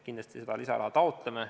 Kindlasti me seda lisaraha taotleme.